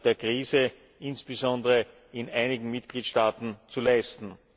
der Krise, insbesondere in einigen Mitgliedstaaten, zu leisten.